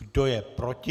Kdo je proti?